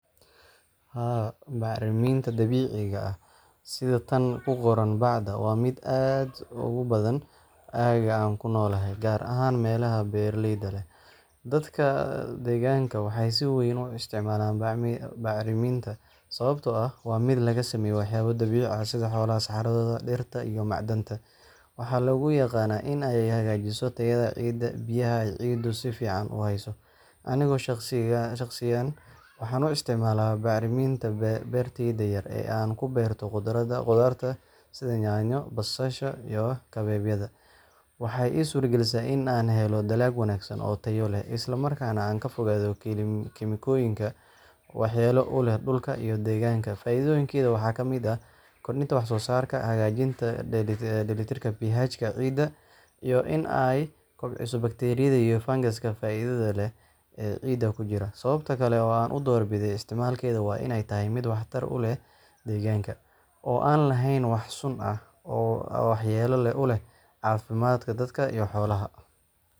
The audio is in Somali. Haa bacriminta dabiciga ah sidhaa tan kuqoran bacda, waa mid aad ogubadan agaa an kunolahay, gar ahan melaha beraleyda leh, dadka deganka waxay sii weyn uu istacmalan bacriminta, sababto ah waa mid lagasameye waxayaba dabici ah sidaa xolaha saxaradoda, dirta iyo macdanta waxa lagu yaqanah inay hagajiso tayada cida biyaha cidu sifican uhayso anigo shaqsigan waxan uu istacmala bacriminta berteyda ankuberto qudarta sidha nyanyo, basasha iyo kabebyada waxay isurta galisa inan helo dalab wanagsan oo tayo leh, islamarkas nah ankafogado keminkoyinka waxyelo uleh dulka iyo deganka, faidoyinkeda waxa kamid ah kordinta wax sosarka hagajinta delitirka pihajka cida iyo in ay kobciso bakteriyada iyo fangaska faidada leh, ee cida kujira sababta kale oo an udor bidee istacmalkeda waa ianay mid wax tar uleh deganka, oo an lehen wax sun ah oo waxyelo uleh cafidka dadka iyo xolaha.